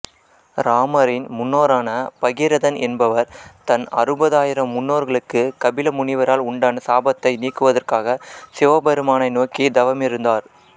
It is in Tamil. இராமரின் முன்னோரான பகீரதன் என்பவர் தன் அறுபதாயிரம் முன்னோர்களுக்கு கபில முனிவரால் உண்டான சாபத்தை நீக்குவதற்காக சிவபெருமானை நோக்கி தவமிருந்தார்